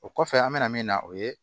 O kɔfɛ an bɛna min na o ye